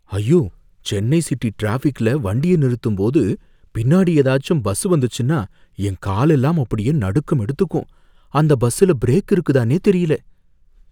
ஐயோ! சென்னை சிட்டிட்ராபிக்ல வண்டிய நிறுத்தும்போது, பின்னாடி ஏதாச்சும் பஸ் வந்துச்சுன்னா என் காலெல்லாம் அப்படியே நடுக்கம் எடுத்துக்கும்! அந்த பஸ்ஸுல பிரேக் இருக்குதானே தெரியல.